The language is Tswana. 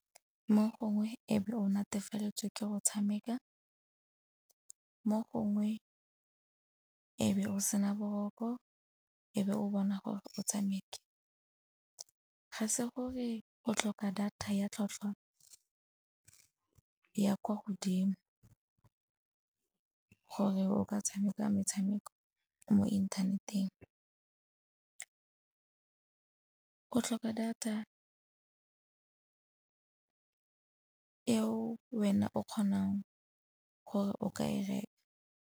Mo gongwe e be o netefaletswe ke go tshameka, mo gongwe e be o sena boroko e be o bona gore o tshameke. Ga se gore o tlhoka data ya tlhwatlhwa ya kwa godimo gore o ka tshameka metshameko mo inthaneteng. O tlhoka data e wena o kgonang gore o ka e reka.